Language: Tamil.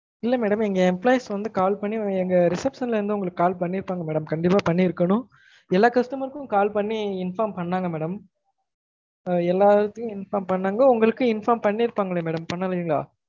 இல்ல madam எங்க employees வந்து call பண்ணி எங்க reception ல இருந்து உங்கலுக்கு call பன்ணிருப்பாங்க madam கண்டீப்பா பண்ணிருக்கனும் எல்லா customer க்கும் call பன்னி inform பண்ணாங்க madam ஆஹ் எல்லாருக்கும் inform பண்ணாங்க madam உங்களுக்கும் inform பன்ணிருப்பாங்கலே madam பண்ணலீங்கலா